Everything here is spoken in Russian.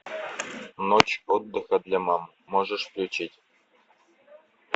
ночь отдыха для мам можешь включить